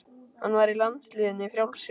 Hann var í landsliðinu í frjálsum.